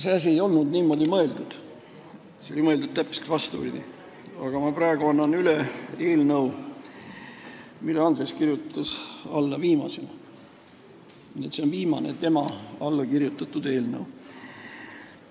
See asi ei olnud niimoodi mõeldud, see oli mõeldud täpselt vastupidi, aga ma annan praegu üle eelnõu, millele Andres kirjutas alla viimasena ja mis on ühtlasi viimane tema allkirjaga eelnõu.